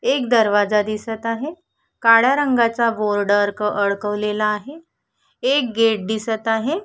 एक दरवाजा दिसत आहे काळ्या रंगाचा बोर्ड अरक अडकवलेला आहे एक गेट दिसत आहे.